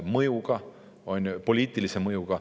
Ilmselgelt oli see poliitilise mõjuga.